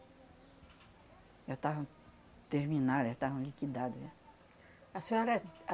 Já estavam terminadas, já estavam liquidadas, já. A senhora,